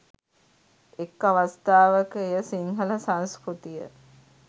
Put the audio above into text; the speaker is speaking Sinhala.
එක් අවස්ථාවක එය සිංහල සංස්කෘතිය